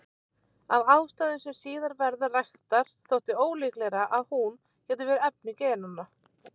Af ástæðum sem síðar verða raktar þótti ólíklegra að hún gæti verið efni genanna.